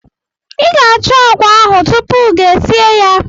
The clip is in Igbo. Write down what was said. I ga-achọ agwa ahụ tupu gi esie ya.